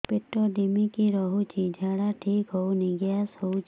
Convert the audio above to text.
ପେଟ ଢିମିକି ରହୁଛି ଝାଡା ଠିକ୍ ହଉନି ଗ୍ୟାସ ହଉଚି